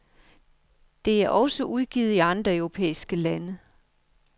Det er også udgivet i andre europæiske lande.